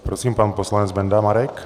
Prosím, pan poslanec Benda Marek.